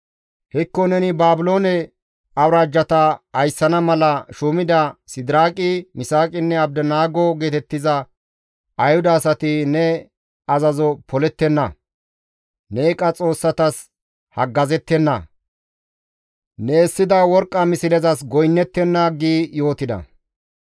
Hekko neni Baabiloone awuraajjata ayssana mala shuumida Sidiraaqi, Misaaqinne Abdinaago geetettiza Ayhuda asati ne azazo polettenna; ne eeqa xoossatas haggazettenna; ne essida worqqa mislezas goynnettenna» gi yootida.